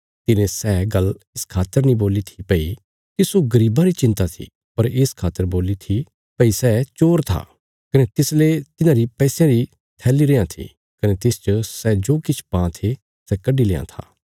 तिने सै गल्ल इस खातर नीं बोल्ली थी भई तिस्सो गरीबां री चिंता थी पर इस खातर बोल्ली थी भई सै चोर था कने तिसले तिन्हांरी पैसयां री थैली रेआं थी कने तिसच सै जो किछ पां थे सै कड्डी लेआं था